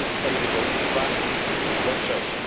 Rolnictwa i Rybołówstwa we wrześniu.